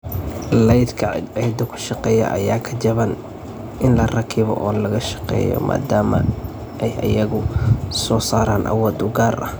Laydhka cadceedda ku shaqeeya ayaa ka jaban in la rakibo oo la shaqeeyo maadaama ay iyagu soo saaraan awood u gaar ah.